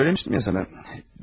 Söyləmişdim ya sənə.